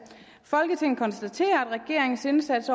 folketinget konstaterer at regeringens indsats